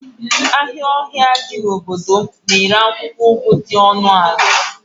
ahịa ọhịa dị n'obodo m na-ere akwụkwọ ugu dị ọnụ ala